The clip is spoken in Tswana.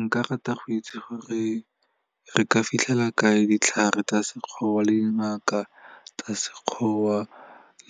Nka rata go itse gore re ka fitlhela kae ditlhare tsa sekgowa le dingaka tsa sekgowa